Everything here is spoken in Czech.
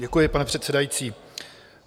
Děkuji, pane předsedající.